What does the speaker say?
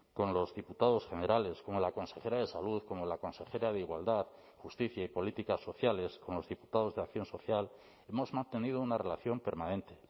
con los diputados generales como la consejera de salud como la consejera de igualdad justicia y políticas sociales con los diputados de acción social hemos mantenido una relación permanente